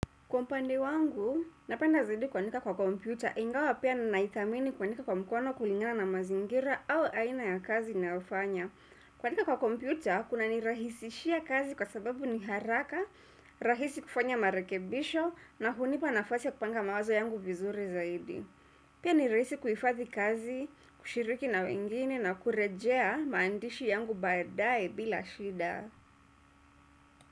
Kwa upande wangu, napenda zaidi kuandika kwa kompyuta, ingawa pia na naithamini kuandika kwa mkono kulingana na mazingira. Au aina ya kazi ninayofanya. Kuandika kwa kompyuta, kuna nirahisishia kazi kwa sababu ni haraka, rahisi kufanya marekebisho, na hunipa nafati ya kupanga mawazo yangu vizuri zaidi. Pia ni rahisi kufadhi kazi, kushiriki na wengine, na kurejea maandishi yangu badaye bila shida.